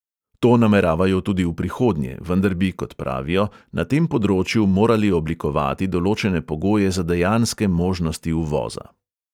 To nameravajo tudi v prihodnje, vendar bi, kot pravijo, na tem področju morali oblikovati določene pogoje za dejanske možnosti uvoza.